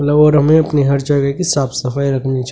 और हमें अपनी हर जगह की साफ सफाई रखनी चाहिए.